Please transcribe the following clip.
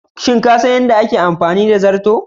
Shin kasan yadda ake amfani da zarto?